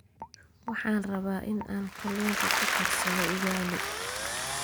Waxaan rabaa in aan kalluunka ku karsado ugali